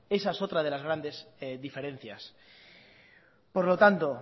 esa es otra de las grandes diferencias por lo tanto